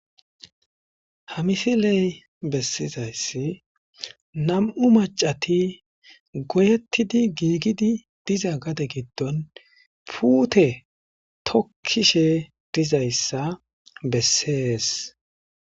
Hamisiley bessizayssi nam'u macati goyettidi giigidi diza gade giddon puute tokkishe dizayssa bessees.